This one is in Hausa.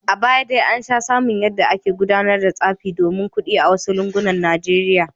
A baya dai an sha samun yadda ake gudanar da tsafi domin kudi a wasu lungunan Najeriya.